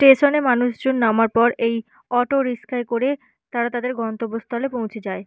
Station - এ মানুষ জন নামার পর এই অটো রিক্সায় করে তারা তাদের গন্তব্য স্থানে পৌঁছে যায়।